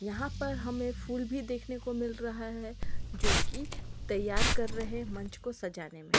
यहां पर हमें फूल भी देखने को मिल रहा है जोकी तैयार कर रहे मंच को सजाने में।